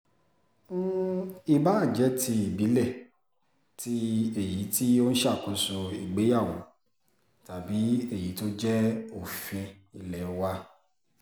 ìbáà jẹ́ ti ìbílẹ̀ tí èyí tó ń ṣàkóso ìgbéyàwó tàbí tí èyí tó jẹ́ òfin ilé wà